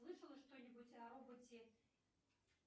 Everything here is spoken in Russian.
слышала что нибудь о роботе